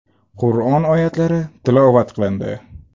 Qur’on oyatlari tilovat qilindi.